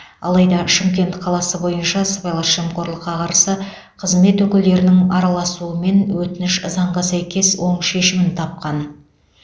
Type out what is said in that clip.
алайда шымкент қаласы бойынша сыбайлас жемқорлыққа қарсы қызмет өкілдерінің араласуымен өтініш заңға сәйкес оң шешімін тапқан